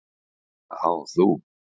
Já þú!